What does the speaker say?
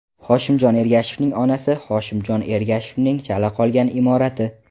Hoshimjon Ergashevning onasi Hoshimjon Ergashevning chala qolgan imorati.